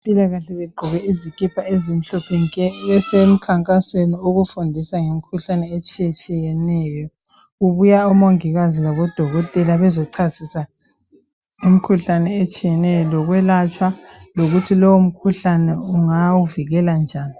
Abezempilakahle bagqoke izikipha ezimhlophe nke, besemkhankasweni okufundisa ngemikhuhlane etshiye tshiyeneyo. Kubuya omongikazi labo dokotela bezochasisa imikhuhlane etshiyeneyo lokwelatshwa lokuthi lowu mkhuhlane ungawuvikela njani.